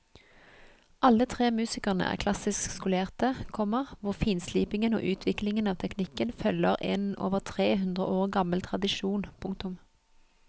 Alle tre musikerne er klassisk skolerte, komma hvor finslipingen og utviklingen av teknikken følger en over tre hundre år gammel tradisjon. punktum